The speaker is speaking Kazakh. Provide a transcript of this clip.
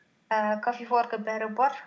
ііі кофеварка бәрі бар